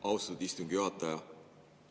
Austatud istungi juhataja!